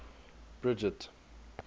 bridget